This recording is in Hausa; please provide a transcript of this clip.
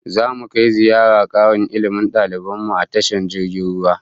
Zamu kai ziyarar karin Ilmi da daliban mu a tashar jirgin ruwan